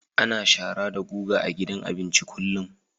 Ana shara da guga a gidan abinci kullum